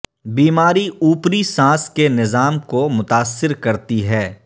بیماری اوپری سانس کے نظام کو متاثر کرتی ہے